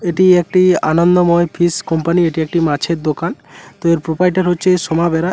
এটি একটি আনন্দময় ফিশ কোম্পানি এটি একটি মাছের দোকান তো এর প্রোপাইটার হচ্ছে সোমাবেরা।